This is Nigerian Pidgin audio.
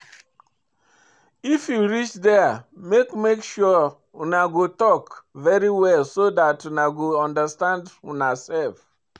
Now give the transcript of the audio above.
If you reach there make make sure una go talk very well so dat una go understand una self